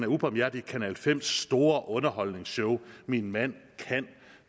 ubarmhjertig i kanal 5’s store underholdningsshow min mand kan